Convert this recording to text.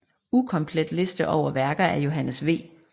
Ukomplet liste over værker af Johannes V